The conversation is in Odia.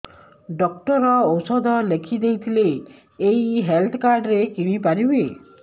ଡକ୍ଟର ଔଷଧ ଲେଖିଦେଇଥିଲେ ଏଇ ହେଲ୍ଥ କାର୍ଡ ରେ କିଣିପାରିବି